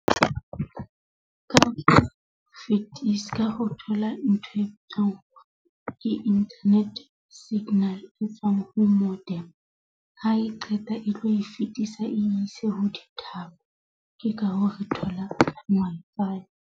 Ka ho fetisa ka ho thola ntho e tlang, ke internet signal e tswang ho . Ha e qeta e tlo e fetisa, e ise ho di-tower. Ke ka hoo re tholang .